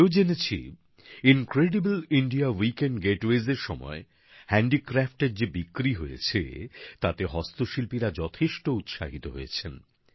আমি এও জেনেছি অতুল্য ভারত সপ্তাহান্ত গেটওয়ের সময় হস্তশিল্পের যে সব সামগ্রী যে বিক্রি হয়েছে তাতে হস্তশিল্পীরা যথেষ্ট উৎসাহিত হয়েছেন